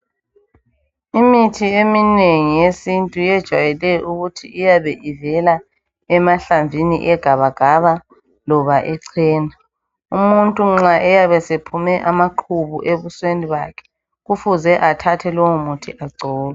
Imithi eminingi yesintu yejwayele ukuthi uyabe ivela emahlamvini egabagaba loba ecena umuntu nxa esephume amaqubu ebusweni bakhe kufuze athathe lowo muthi agcobe